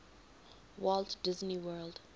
walt disney world